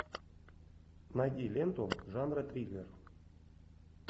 найди ленту жанра триллер